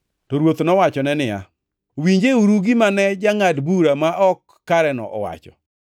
To Ruoth nowacho niya, “Winjeuru gima ne jangʼad bura ma ok kareno owacho!